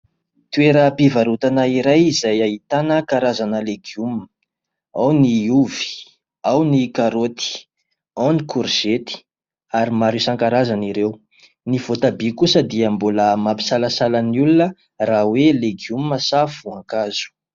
Toeram-pivarotana iray izay ahitana karazana legioma. Ao ny ovy, ao ny karôty, ao ny korzety, ary maro isan-karazany ireo. Ny votabia kosa dia mbola mampisalasala ny olona raha hoe legioma sa voankazo.